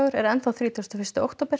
er enn þrítugasta og fyrsta október